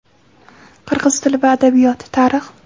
Qirg‘iz tili va adabiyot, Tarix.